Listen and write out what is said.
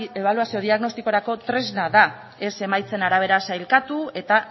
ebaluazio diagnostikorako tresna da ez emaitzen arabera sailkatu eta